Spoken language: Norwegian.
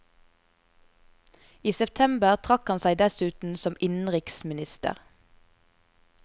I september trakk han seg dessuten som innenriksminister.